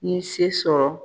Ni se sɔrɔ